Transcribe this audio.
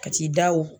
Ka t'i da o